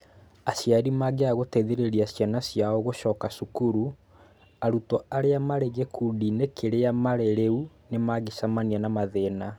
Aciari mangĩaga gũteithĩrĩria ciana ciao gũcoka cukuru, arutwo arĩa marĩ gĩkundi-inĩ kĩrĩa marĩ rĩu nĩ mangĩcemania na mathĩna.